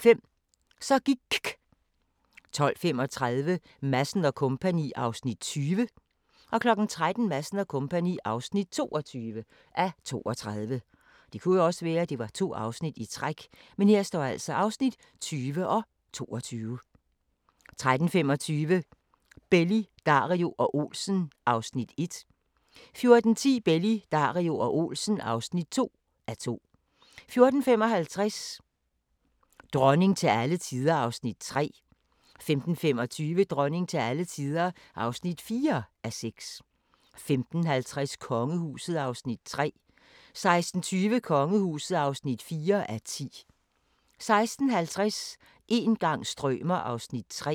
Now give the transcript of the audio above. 12:05: Så gIKK 12:35: Madsen & Co. (20:32) 13:00: Madsen & Co. (22:32) 13:25: Belli, Dario og Olsen (1:2) 14:10: Belli, Dario og Olsen (2:2) 14:55: Dronning til alle tider (3:6) 15:25: Dronning til alle tider (4:6) 15:50: Kongehuset (3:10) 16:20: Kongehuset (4:10) 16:50: Een gang strømer ... (3:6)